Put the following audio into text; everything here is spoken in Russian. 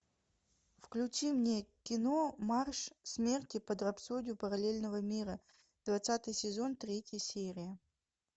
включи мне кино марш смерти под рапсодию параллельного мира двадцатый сезон третья серия